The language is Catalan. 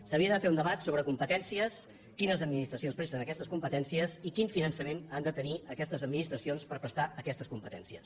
s’havia de fer un debat sobre competències quines administracions presten aquestes competències i quin finançament han de tenir aquestes administracions per prestar aquestes competències